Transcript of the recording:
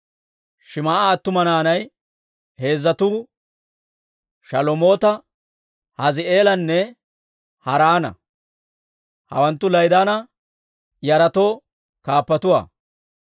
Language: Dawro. Shim"a attuma naanay heezzatuu Shalomoota, Hazii'eelanne Haaraana; hawanttu La'idaana yaratoo kaappatuwaa.